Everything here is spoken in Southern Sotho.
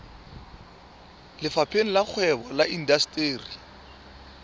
lefapheng la kgwebo le indasteri